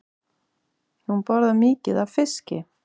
Hún borðar mikið af fiski.